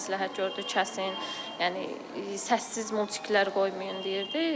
Həkim məsləhət gördü kəsin, yəni səssiz multiklər qoymayın deyirdi.